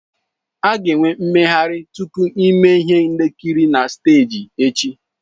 A ga-enwe mmeghari tupu ime ihe nkiri na steeji echi.